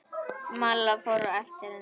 Malla fór á eftir henni.